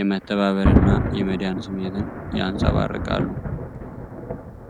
የመተባበር እና የመዳን ስሜትን ያንጸባርቃሉ።